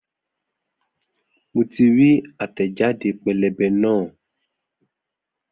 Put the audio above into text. Mo ti rí àtẹ̀jáde pẹ́lẹ́bẹ́ náà